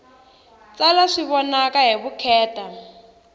tsala swi vonaka hi vukheta